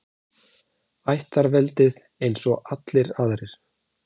Ættarveldið, eins og allir aðrir.